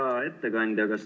Hea ettekandja!